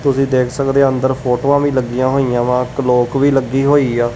ਤੁਸੀਂ ਦੇਖ ਸਕਦੇਹਾਂ ਅੰਦਰ ਫੋਟੋਆਂ ਵੀ ਲੱਗਿਆਂ ਹੋਈਆਂ ਵਾਂ ਕਲੋਕ ਵੀ ਲੱਗੀ ਹੋਈ ਆ।